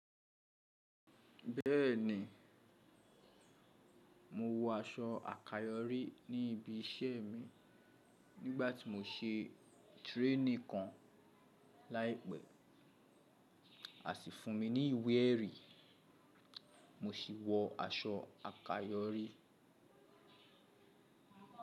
Bẹ́ẹ̀ni, mo wọ aṣọ àkayòrí ní ibi iṣẹ́ mi nígbà tí mò ń ṣe training kan láìpẹ́. A sì fún mi ní iwé erì, mo sì wọ aṣọ àkayòrí.